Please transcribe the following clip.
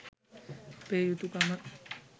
අපේ යුතුකම.